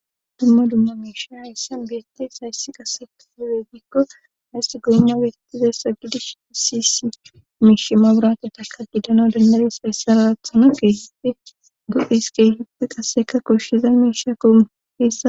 dumma dumma miisha hayssan biyetes hayssi qase luwe gikko haysti goynna wetizayssa gidish sisi miishima burata taka didano dandares hayssa larathano keesite duesk hidpi qasseka koshshiza miisha koma heessa